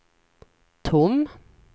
tom